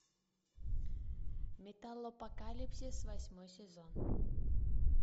металлопокалипсис восьмой сезон